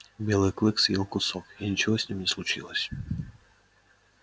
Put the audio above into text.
белый клык съел кусок и ничего с ним не случилось